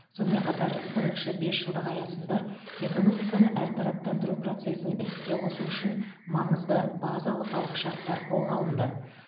сонымен қатар бірінші бесжылдық аясында экономиканы әртараптандыру процесін іске қосу үшін маңызды базалық алғышартар қолға алынды